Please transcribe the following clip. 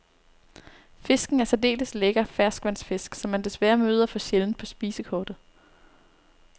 Fisken er en særdeles lækker ferskvandsfisk, som man desværre møder for sjældent på spisekortet.